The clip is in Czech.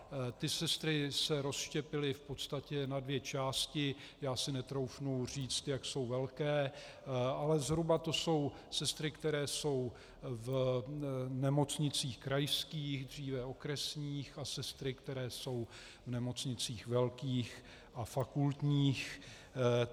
Ty sestry se rozštěpily v podstatě na dvě části, já si netroufnu říct, jak jsou velké, ale zhruba to jsou sestry, které jsou v nemocnicích krajských, dříve okresních, a sestry, které jsou v nemocnicích velkých a fakultních.